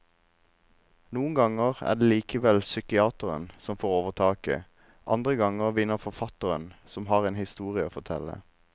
Noen ganger er det likevel psykiateren som får overtaket, andre ganger vinner forfatteren som har en historie å fortelle.